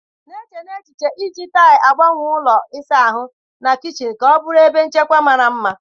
Na-eche n'echiche iji taịlị na-agbanwe ụlọ ịsa ahụ na kichin ka ọ bụrụ ebe nchekwa mara mma